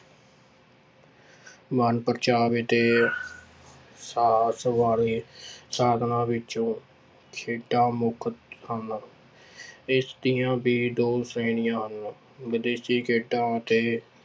ਮਨਪਰਚਾਵੇ ਤੇ ਵਾਲੇ ਸਾਧਨਾਂ ਵਿੱਚੋਂ ਖੇਡਾਂ ਮੁੱਖ ਹਨ ਇਸ ਦੀਆਂ ਵੀ ਦੋ ਸ੍ਰੇਣੀਆਂ ਹਨ, ਵਿਦੇਸ਼ੀ ਖੇਡਾਂ ਅਤੇ